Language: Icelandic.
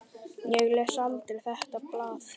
Ég les aldrei þetta blað.